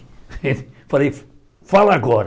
Falei, fala agora.